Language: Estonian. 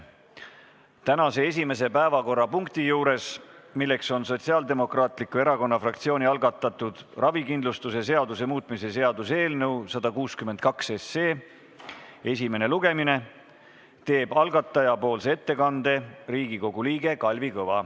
Tänase esimese päevakorrapunkti juures, mis on Sotsiaaldemokraatliku Erakonna fraktsiooni algatatud ravikindlustuse seaduse muutmise seaduse eelnõu 162 esimene lugemine, teeb algatajate nimel ettekande Riigikogu liige Kalvi Kõva.